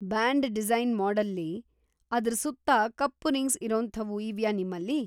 Band design ಮಾಡೆಲ್‌ಲಿ, ಅದ್ರ ಸುತ್ತ ಕಪ್ಪು ರಿಂಗ್ಸ್ ಇರೋಂಥವು ಇವ್ಯಾ ನಿಮ್ಮಲ್ಲಿ?